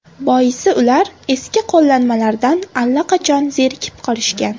Boisi ular eski qo‘llanmalardan allaqachon zerikib qolishgan.